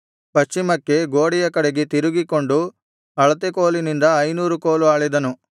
ಪಶ್ಚಿಮಕ್ಕೆ ಗೋಡೆಯ ಕಡೆಗೆ ತಿರುಗಿಕೊಂಡು ಅಳತೆ ಕೋಲಿನಿಂದ ಐನೂರು ಕೋಲು ಅಳೆದನು